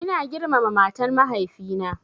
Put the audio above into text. Ina girmama matan mahaifi na